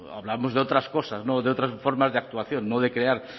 hablamos de otras cosas de otras formas de actuación no de crear